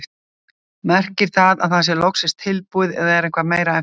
Merkir það að það sé loksins tilbúið eða er eitthvað meira eftir?